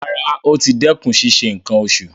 Rárá, ó ti dẹ́kun ṣíṣe nǹkan oṣù.